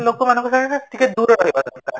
ଲୋକମାନଙ୍କ ସହ ଟିକେ ଦୂର ରହିବା ଦରକାର